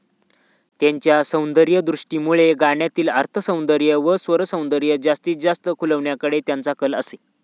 त्यांच्या सौंदर्यदृष्टीमुळे गाण्यातील अर्थसौंदर्य व स्वरसौंदर्य जास्तीत जास्त खुलविण्याकडे त्यांचा कल असे.